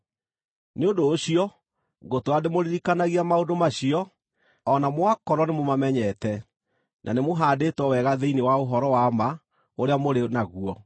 Nĩ ũndũ ũcio ngũtũũra ndĩmũririkanagia maũndũ macio, o na mwakorwo nĩmũmamenyete, na nĩmũhaandĩtwo wega thĩinĩ wa ũhoro wa ma ũrĩa mũrĩ naguo.